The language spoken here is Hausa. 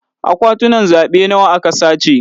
Akwatunan zaɓe nawa aka sace?